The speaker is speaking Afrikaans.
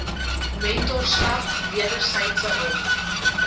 mentorskap wedersydse hulp